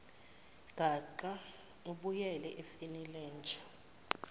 gaqa ubuyele efenilenja